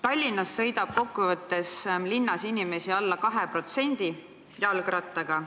Tallinnas sõidab kokku võttes alla 2% inimestest jalgrattaga.